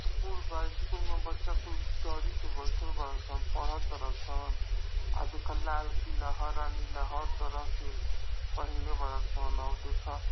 School बा school में बच्चा कुल तरी प बईठल बाड़ सन पढ़ तार सन। आ देखा लाल पीला हरा नीला हर तरह के पहीनले बाड़ सन औ देखा --